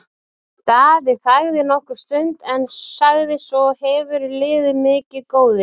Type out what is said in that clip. Daði þagði nokkra stund en sagði svo:-Hefurðu liðið mikið, góði?